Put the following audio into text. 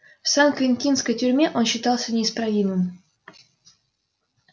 в сан квентинской тюрьме он считался неисправимым